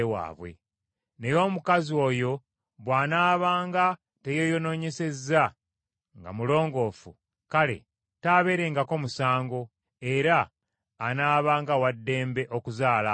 Naye omukazi oyo bw’anaabanga teyeeyonoonyesa nga mulongoofu, kale taabeerengako musango, era anaabanga wa ddembe okuzaala abaana.’